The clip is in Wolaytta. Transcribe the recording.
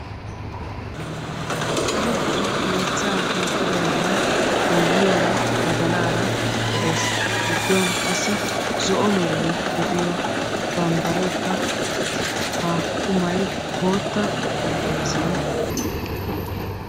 samppa yeechcha hiixidoogan boyyiyaara badalara de'ees. giddon zo'o bambbarekka de'ees. ha qumay bootta xarapheezzan de'ees.